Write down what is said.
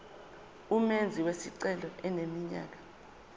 umenzi wesicelo eneminyaka